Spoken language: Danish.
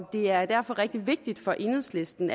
det er derfor rigtig vigtigt for enhedslisten